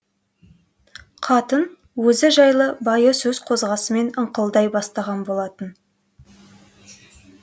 қатын өзі жайлы байы сөз қозғасымен ыңқылдай бастаған болатын